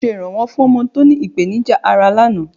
Mo ṣe iranwọ fún ọmọ tó ní ìpènìjà ará lánàá